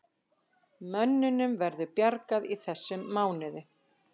Mönnunum verður bjargað í þessum mánuði